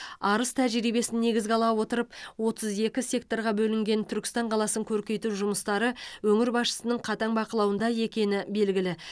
арыс тәжірибесін негізге ала отырып отыз екі секторға бөлінген түркістан қаласын көркейту жұмыстары өңір басшысының қатаң бақылауында екені белгілі